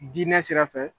Diinɛ sira fɛ